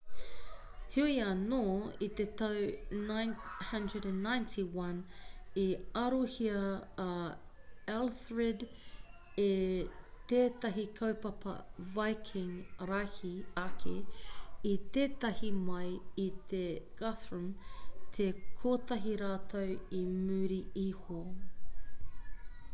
heoi anō i te tau 991 i arohia a elthred e tētahi kahupapa viking rahi ake i tētahi mai i tō guthrum te kotahi rautau i muri iho